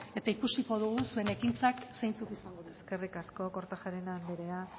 eta ikusiko dugu zuen ekintzak zeintzuk izango diren eskerrik asko kortajarena anderea